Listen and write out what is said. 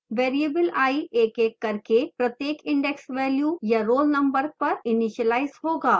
variable i एक एक करके प्रत्येक index value या roll number पर इनिशीलाइज होगा